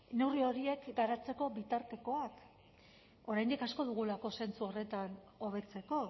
neurri horiek garatzeko bitartekoak oraindik asko dugulako zentzu horretan hobetzeko